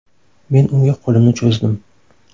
Men unga qo‘limni cho‘zdim.